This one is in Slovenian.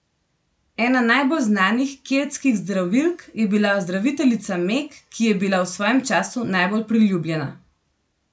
Ena najbolj znanih keltskih zdravilk je bila zdraviteljica Meg, ki je bila v svojem času najbolj priljubljena.